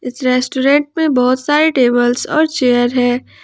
Restaurant में बहुत सारे और चेयर है।